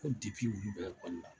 Ko dipi olu bɛ okɔli la